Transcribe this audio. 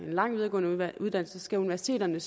lang videregående uddannelse skal universiteterne